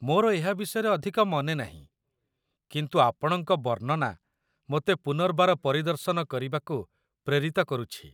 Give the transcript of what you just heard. ମୋର ଏହା ବିଷୟରେ ଅଧିକ ମନେ ନାହିଁ, କିନ୍ତୁ ଆପଣଙ୍କ ବର୍ଣ୍ଣନା ମୋତେ ପୁନର୍ବାର ପରିଦର୍ଶନ କରିବାକୁ ପ୍ରେରିତ କରୁଛି।